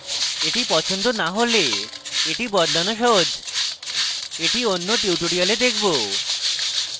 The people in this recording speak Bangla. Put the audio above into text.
এটি পছন্দ না হলে এটি বদলানো সহজ এটি অন্য tutorial দেখবো